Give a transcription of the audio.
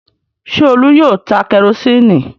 Ṣé Olú yóò ta kẹrósíínì?